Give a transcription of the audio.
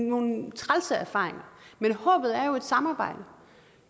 nogle trælse erfaringer men håbet er et samarbejde